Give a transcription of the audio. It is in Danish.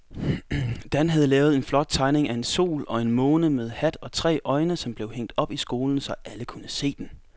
Dan havde lavet en flot tegning af en sol og en måne med hat og tre øjne, som blev hængt op i skolen, så alle kunne se den.